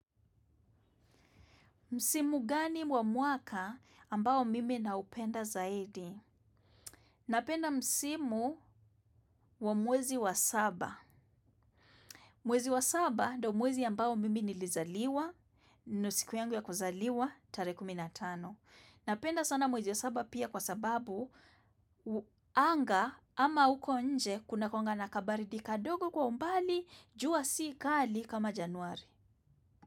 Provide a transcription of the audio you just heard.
Msimu gani wa mwaka ambao mimi naupenda zaidi? Napenda msimu wa mwezi wa saba. Mwezi wa saba ndio mwezi ambao mimi nilizaliwa ni siku yangu ya kuzaliwa tarehe kumi na tano. Napenda sana mwezi wa saba pia kwa sababu, anga ama uko nje kuna joto na baridi kidogo kwa umbali, jua si kali kama Januari.